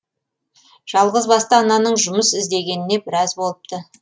жалғызбасты ананың жұмыс іздегеніне біраз болыпты